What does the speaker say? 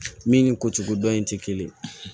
Min ni ko cogo dɔn in tɛ kelen ye